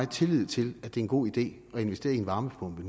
tillid til at det er en god idé at investere i en varmepumpe